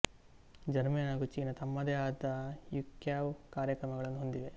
Germany ಹಾಗೂ China ತಮ್ಮದೇ ಆದ ಯುಕ್ಯಾವ್ ಕಾರ್ಯಕ್ರಮಗಳನ್ನು ಹೊಂದಿವೆ